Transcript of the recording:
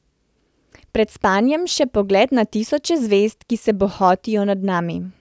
Pred spanjem še pogled na tisoče zvezd, ki se bohotijo nad nami.